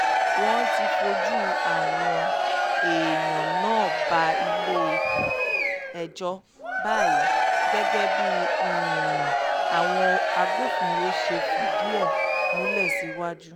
wọ́n ti fojú àwọn èèyàn náà bá ilé-ẹjọ́ báyìí gẹ́gẹ́ bí àwọn agbófinró ṣe fìdí ẹ̀ múlẹ̀ síwájú